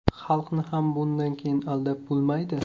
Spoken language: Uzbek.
Xalqni ham bundan keyin aldab bo‘lmaydi.